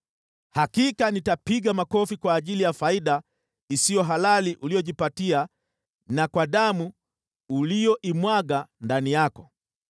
“ ‘Hakika nitapiga makofi kwa ajili ya faida isiyo halali uliyojipatia na kwa damu uliyoimwaga ndani yako.